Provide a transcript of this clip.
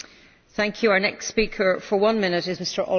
Frau Präsidentin, sehr geehrte Damen und Herren!